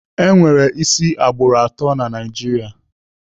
Enwere isi agbụrụ atọ na Naijiria.